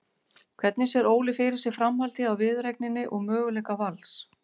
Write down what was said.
Hvernig sér Óli fyrir sér framhaldið á viðureigninni og möguleika Vals?